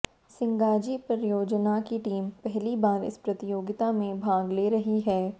सिंगाजी परियोजना की टीम पहली बार इस प्रतियोगिता में भाग ले रही है